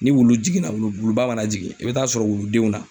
Ni wulu jiginna wulu wuluba mana jigin i bɛ taa sɔrɔ wuludenw na